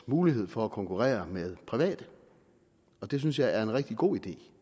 mulighed for at konkurrere med private og det synes jeg er en rigtig god idé